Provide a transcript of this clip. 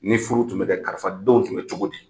Ni furu tun bɛ kɛ, karisa denw tun bɛ cogo di?